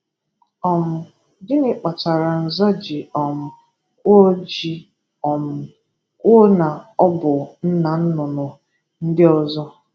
um Gịnị kpatara Nza ji um kwuo ji um kwuo na ọ bụ nna nnụnụ ndị ọzọ?